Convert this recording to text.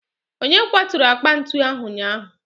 onye kwaturu akpa ntu ahụ ụnyaahụ?